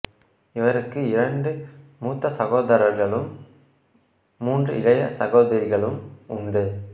இவருக்கு இரண்டு மூத்த சகோதரர்களும் மூன்று இளைய சகோதரிகளும் உண்டு